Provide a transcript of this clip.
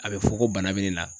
A bɛ fɔ ko bana bɛ ne la